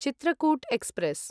Chitrakoot express